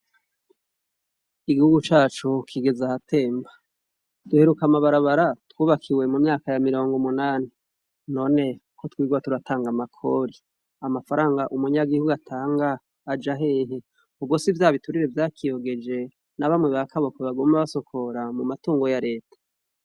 Igihugu cacu kigeze ahatemba. Duheruka amabarabara twubakiwe mu myaka ya mirongo umunani. None ko twirirwa turatanga amakori, amafaranga umunyagihugu atanga aja hehe? Ubwo si vya biturire vyakiyogeje na bamwe ba kaboko baguma basokora mu matungo ya Reta?